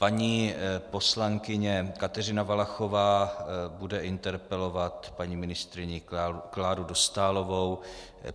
Paní poslankyně Kateřina Valachová bude interpelovat paní ministryni Kláru Dostálovou.